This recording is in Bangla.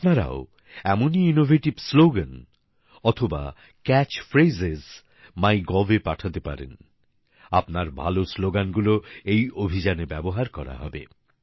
এখন আপনারাও এমনই আকর্ষণীয় স্লোগান অথবা ক্যাচ ফ্রেজ মাই গভে পাঠাতে পারেন আপনার ভালো স্লোগানগুলো এই অভিযানে ব্যবহার করা হবে